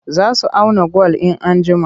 Za su auna gwal. in an jima